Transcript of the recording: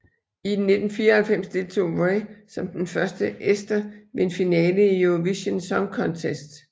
I 1994 deltog Vrait som den første ester ved en finale i Eurovision Song Contest